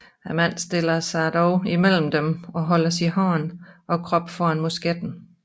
En mand stiller sig dog imellem dem og holder sin hånd og krop foran musketten